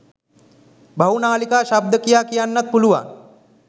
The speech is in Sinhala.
බහු නාලිකා ශබ්ද කියා කියන්නත් පුළුවන්.